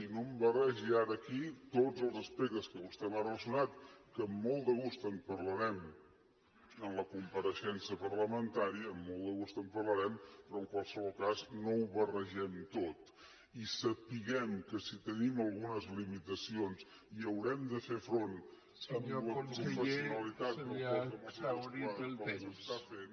i no em barregi ara aquí tots els aspectes que vostè m’ha relacionat que amb molt de gust en parlarem en la compareixença parlamentària amb molt de gust en parlarem però en qualsevol cas no ho barregem tot i sapiguem que si tenim algunes limitacions hi haurem de fer front amb la professionalitat del cos de mossos d’esquadra com s’està fent